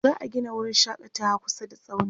za'a Gina wurin shakatawa kusa da tsaunin